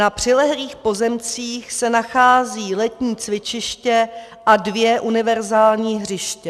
Na přilehlých pozemcích se nachází letní cvičiště a dvě univerzální hřiště.